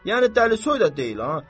Yəni dəlisoy da deyil ha.